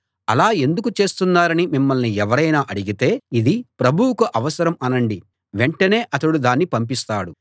అలా ఎందుకు చేస్తున్నారని మిమ్మల్ని ఎవరైనా అడిగితే ఇది ప్రభువుకు అవసరం అనండి వెంటనే అతడు దాన్ని పంపిస్తాడు